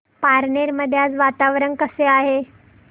पारनेर मध्ये आज वातावरण कसे आहे